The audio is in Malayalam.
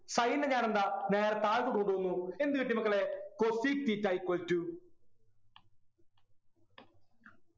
sin നെ ഞാനെന്താ നേരെ താഴത്തോട്ടു കൊണ്ടുപോകുന്നു എന്തുകിട്ടി മക്കളെ cosec theta equal to